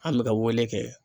An bɛ ka wele kɛ.